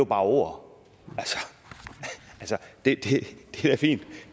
bare ord og det